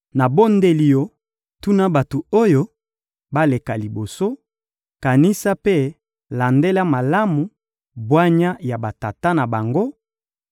Nabondeli yo, tuna bato oyo baleka liboso, kanisa mpe landela malamu bwanya ya batata na bango,